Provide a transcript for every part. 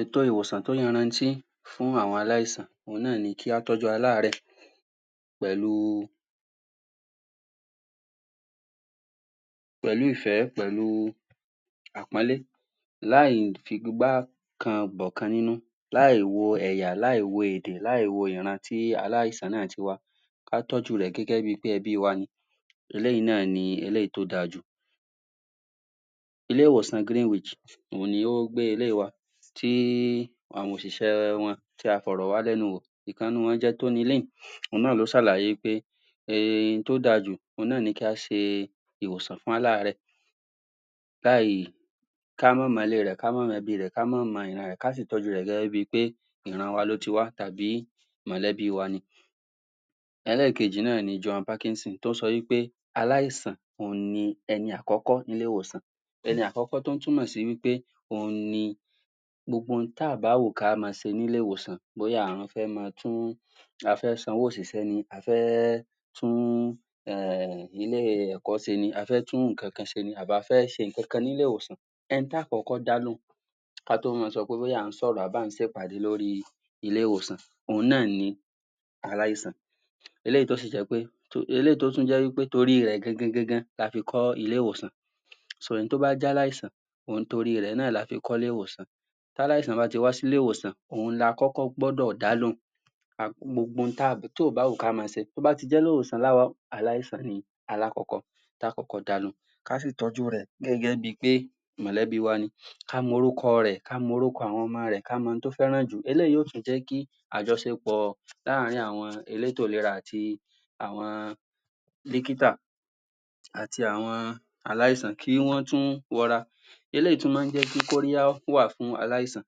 Ètò ìwòsàn tó yarantí fún àwọn aláìsàn òun náà ni kí á tọ́jú aláàréè pẹ̀lú ìfẹ́ pẹ̀lú àpọ́nlé láì fi igbá kan bọ̀ kan nínú láì wo ẹ̀yà, láì wo èdè, láì wo ìran, tí aláísàn náà ti wá kí á tọ́jú rẹ̀ gẹ́gẹ́ bi pé ẹbí wa ni eléyìí náà ni èyí tí ó dáajù ilé-ìwòsàn Greenwich òun ni ó gbé eléyìí wá dé àwọn òṣìṣẹ́ wọn tí a fọ̀rọ̀ wá lẹ́nu wọ̀ ọ̀kan nínú wọ́n ni Tony òun náà ló ṣàlàyé pé ohun tí ó dáa jù, òun náà ni kí a ṣe ìwòsàn fún aláàrẹ̀ láì ká máa mọ ilé rẹ̀, ká máa mọ ẹbí rẹ̀, ká máa mọ ìran rẹ̀, ka sì tọ́jú rẹ̀ gẹ́gẹ́ bi pé ìran wa ló ti wá, tà bí mọ̀lẹ́bí wa ni. Ẹlẹ́kejì, náà ni Joan Parkerson, tó sọ wí pé aláìsàn, òun ni ẹni àkọ́kọ́ ní ilé-ìwòsàn ẹni àkọ́kọ́ tó túmọ̀ sí ni pé, òun ni gbogbo ohun tí ò bá wùn, kí a máa ṣe ní ilé-ìwòsàn, bóyá a fẹ́ máa tún a fẹ́ sanwó òṣìṣẹ́ ni, a fẹ́ tún, um ilé-ìkọ́ṣẹ́ ni, a fẹ́ tún ǹnkan kan ṣe ni, àbí a fẹ́ ṣe ǹnkan kan ní ilé-ìwòsàn ẹni tí a ó kọ́kọ́ dá lóhùn ká tó máa sọ pé bóyá à ń sọ̀rọ̀ àbí à ń ṣe ìpàdé lórí ilé-ìwòsàn. òun náà ni aláìsàn. eléyìí tó sì jẹ́ pé, eléyìí tó tún jẹ́ wí pé torí rẹ̀ la ṣe kọ́ ilé-ìwòsàn ẹni tó bá jẹ́ aláìsàn um torí rẹ̀ náà la ṣe kọ́ ilé-ìwòsàn tí aláìsàn bá ti wá sí ilé-ìwòsàn, òun ni a kọ́kọ́ gbọ́dọ̀ dá lóhùn gbogbo ohun tí ò bá wù ká máa ṣe, tó bá ti jẹ́ aláìsàn ni alákọ́kọ́ tí a ó kọ́kọ́ dá lóhùn, ká sì tójú rẹ̀ gẹ́gẹ́ bi pé mọ̀lẹ́bí wa ni ká mọ orúkọ rẹ̀, ká mọ orúkọ àwọn ọmọ rẹ̀, ká mọ ohun tí ó fẹ́ràn jù, eléyìí yó tún jẹ́ kí àjọṣepọ̀ láàrin àwọn elétò ìlera àti àwọn dọ́kítà àti àwọn aláìsàn, kí wọ́n tún rọra eléyìí tún máa ń jẹ́ kí kóríyá wà fún aláìsàn.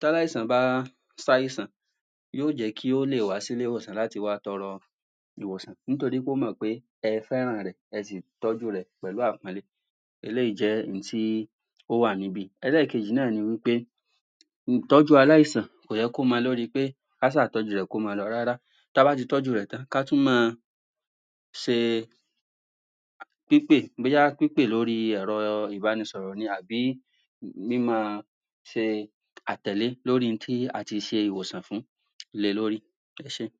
T'áláìsàn bá ṣ'àìsàn yó jẹ́ kí ó lè wá sí ilé-ìwòsàn láti wá tọrọ ìwòsàn, nítorí pé ó mọ̀ pé ẹ fẹ́ràn rẹ̀, ẹ sì tọ́jú rẹ̀ pẹ̀lú àpọ́nlé eléyìí jẹ́ ohun tí ó wà níbí, ẹlẹ́yìí náà ni wí pé ìtọ́jú aláìsàn, kò yẹ kó mọ lóri pé ká ṣá tọ́jú rẹ̀, kó máa lọ, rárá. Ta bá ti tọ́jú rẹ̀ tán, ká tún máa ṣe pípè, bóyá pípè lórí ẹ̀rọ ìbánisọ̀rọ̀ ni àbí ṣe a tẹ̀lé lórí ohun tí a ti ṣe ìwòsàn fún le lórí. Ẹ ṣẹ́.